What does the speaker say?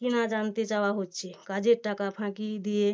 কিনা জানতে চাওয়া হচ্ছে কাজের টাকা ফাঁকি দিয়ে